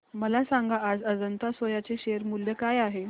मला सांगा आज अजंता सोया चे शेअर मूल्य काय आहे